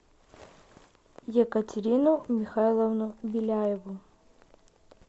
екатерину михайловну беляеву